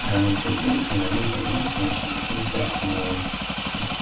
экран засветился и на нем появилось морщинистое лицо часового